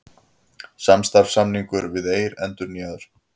Samstarfssamningur við Eir endurnýjaður